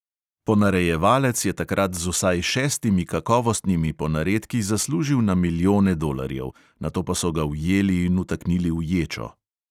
Ponarejevalec je takrat z vsaj šestimi kakovostnimi ponaredki zaslužil na milijone dolarjev, nato pa so ga ujeli in vtaknili v ječo.